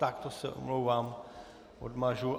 Tak to se omlouvám, odmažu.